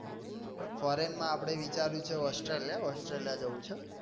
Foreign માંઆપને વિચારું છે આપડે asutraliya જવું છે.